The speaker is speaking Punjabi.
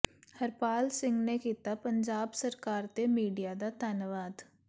ਹਰਪਾਲ ਸਿੰਘ ਨੇ ਕੀਤਾ ਪੰਜਾਬ ਸਰਕਾਰ ਤੇ ਮੀਡੀਆ ਦਾ ਧੰਨਵਾਦ